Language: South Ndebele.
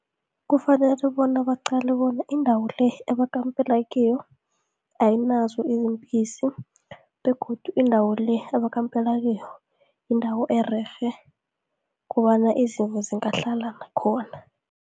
Kufanele bona baqale bona indawo le ebakampela kiyo, ayinazo izimpisi begodu indawo le abakampela kiyo, yindawo ererhe kobana izimvu zingahlala nakhona.